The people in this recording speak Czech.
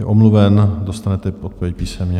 Je omluven, dostanete odpověď písemně.